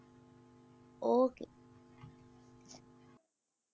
Okay